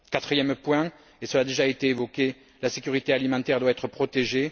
Quatrième point, et cela a déjà été évoqué, la sécurité alimentaire doit être protégée.